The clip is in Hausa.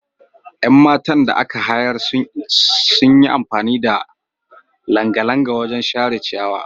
Yan matan da aka hayar sun yi amfani da langalanga wajen share ciyawa.